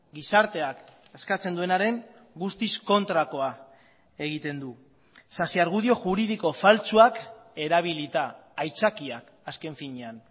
gizarteak eskatzen duenaren guztiz kontrakoa egiten du sasiargudio juridiko faltsuak erabilita aitzakiak azken finean